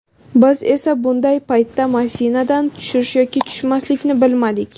Biz esa bunday paytda mashinadan tushish yoki tushmaslikni bilmadik.